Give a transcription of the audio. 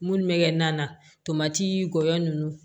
Munnu bɛ kɛ na tomati lɔ ninnu